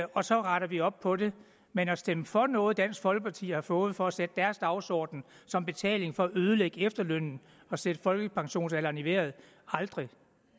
og så retter vi op på det men at stemme for noget som dansk folkeparti har fået for at sætte deres dagsorden som betaling for at ødelægge efterlønnen og sætte folkepensionsalderen i vejret aldrig